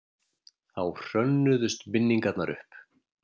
Þá hrönnuðust minningarnar upp.